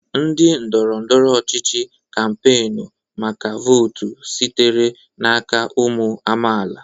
Ndị ndọrọ ndọrọ ọchịchị kampainu maka votu sitere n'aka ụmụ amaala.